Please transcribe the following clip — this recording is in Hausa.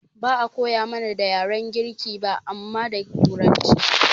Ba'a koya mana da yaren girki ba amma da turanci